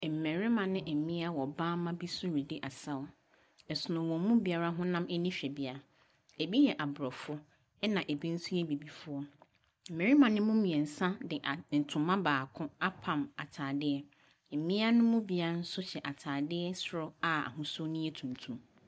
Mmarima ne mmea wɔ bamma bi so redi asaw. Ɛsono wɔn mu biara honam ani hwɛbea. Ɛbi yɛ Aborɔfo, ɛna ɛbi nso yɛ Abibifoɔ. Mmarima no mu mmeɛnsa de a ntoma baako apam atadeɛ. Mmea no mu biara nso hyɛ atadeɛ soro a ahosuo no yɛ tuntum.